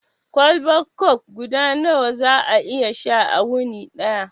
Kwalbar kok guda nawa za ka iya sha a wuni daya?